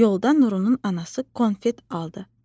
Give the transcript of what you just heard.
Yolda Nurunun anası konfet aldı.